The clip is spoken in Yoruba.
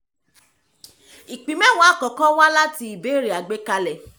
ìpín mẹ́wàá àkọ́kọ́ wá láti ìbẹ̀rẹ̀ àgbékalẹ̀